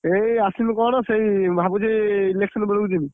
ଏଇ ଆସିଲୁ କଣ ସେଇ ଭାବୁଛି election ବେଳକୁ ଯିବି।